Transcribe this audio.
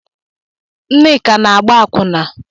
Nneka na-agba akwụna.